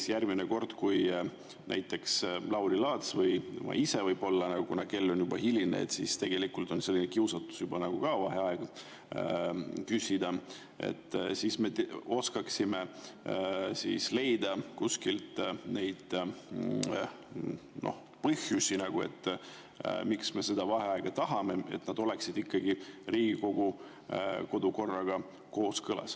Et järgmine kord näiteks Lauri Laats või ma ise – kuna kell on juba hiline, siis tegelikult on ka juba kiusatus vaheaega küsida – oskaksime leida kuskilt neid põhjusi, miks me vaheaega tahame, ja et see oleks ikkagi Riigikogu kodukorraga kooskõlas.